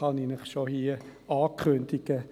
Dies kann ich Ihnen schon jetzt ankündigen.